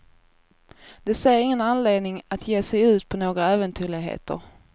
De ser ingen anledning att ge sig ut på några äventyrligheter.